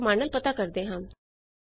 ਆਓ cat command ਨਾਲ ਪਤਾ ਕਰਦੇ ਹਾਂ